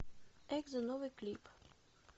экзо новый клип